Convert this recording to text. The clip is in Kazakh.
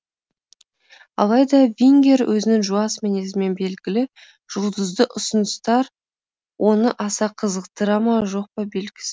алайда вингер өзінің жуас мінезімен белгілі жұлдызды ұсыныстар оны аса қызықтыра ма жоқ па белгісіз